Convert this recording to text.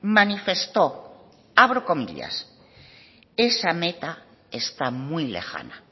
manifestó abro comillas esa meta está muy lejana